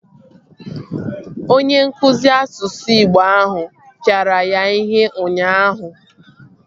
Onye nkụzi asụsụ igbo ahụ pịara ya ihe ụnyaahụ